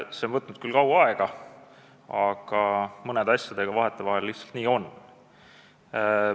See on võtnud küll kaua aega, aga mõne asjaga vahetevahel lihtsalt nii on.